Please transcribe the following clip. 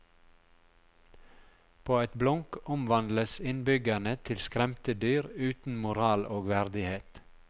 På et blunk omvandles innbyggerne til skremte dyr uten moral og verdighet.